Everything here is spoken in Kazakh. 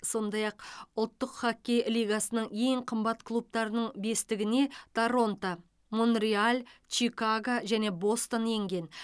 сондай ақ ұлттық хоккей лигасының ең қымбат клубтарының бестігіне торонто монреаль чикаго және бостон енген